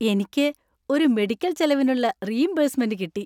എനിക്ക് ഒരു മെഡിക്കൽ ചെലവിനുള്ള റീഇംബേഴ്സ്മെന്റ് കിട്ടി.